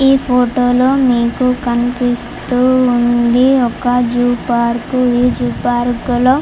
ఈ ఫోటో లో మీకు కనిపిస్తూ ఉంది ఒక జూ పార్క్ . ఈ జూ పార్కు లో--